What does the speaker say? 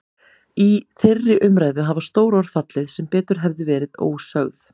Í þeirri umræðu hafa stór orð fallið sem betur hefðu verið ósögð.